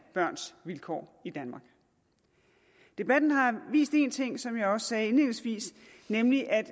børns vilkår i danmark debatten har vist en ting som jeg også sagde indledningsvis nemlig at